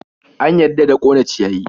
An yarda da ƙone ciyayi?